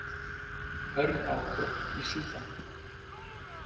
Hörð átök í Súdan